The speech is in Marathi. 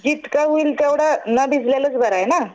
जितकं होईल तितकं न भिजलेलंच बरं आहे ना?